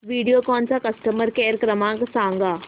व्हिडिओकॉन चा customer care क्रमांक सांगा